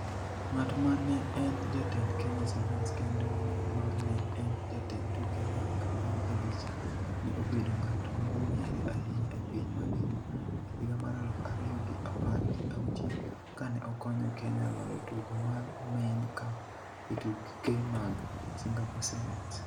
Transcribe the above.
Ng'at ma ne en jatend Kenya Sevens kendo ma ne en jatend tuke mag apar gabich, ne obedo ng'at mong'ere ahinya e piny mangima e higa mar aluf ariyo gi apar gi auchiel kane okonyo Kenya loyo tugo mar Main Cup e tuke mag Singapore Sevens.